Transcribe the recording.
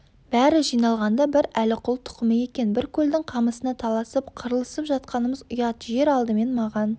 бәрі жиналғанда бір әліқұл тұқымы екен бір көлдің қамысына таласып қырылысып жатқанымыз ұят жер алдымен маған